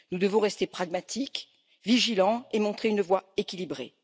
Nous devons rester pragmatiques, vigilants et montrer une voie équilibrée.